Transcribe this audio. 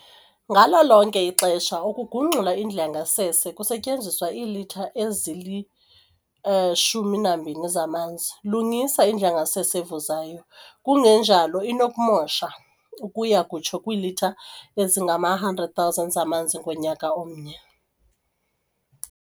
Ngalo lonke ixesha ugungxula indlu yangasese, kusetyenziswa iilitha ezili-12 zamanzi. Lungisa indlu yangasese evuzayo kungenjalo inokumosha ukuya kutsho kwiilitha ezingama 100 000 zamanzi ngonyaka omnye.